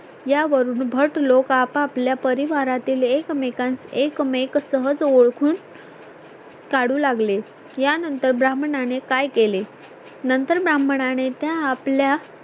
यावरून भट लोक आपापल्या परिवारातील एकमेकांचे एकमेक सहज ओळखून काढू लागले यानंतर ब्राह्मणा नें काय केलें? नंतर ब्राहमनाने त्या आपल्या